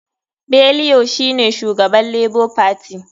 Bellio shine shugaban lebo fati.